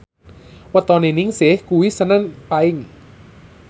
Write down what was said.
wetone Ningsih kuwi senen Paing